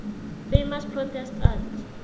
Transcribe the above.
famous protest art